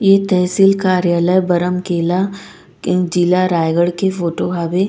ये तहसील कार्यालय बरम केला के जिला रायगढ़ के फोटो हवे --